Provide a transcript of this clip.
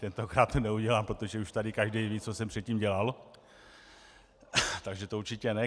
Tentokrát to neudělám, protože už tady každý ví, co jsem předtím dělal, takže to určitě ne.